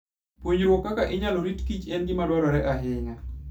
Puonjruok kaka inyalo rito kichen gima dwarore ahinya.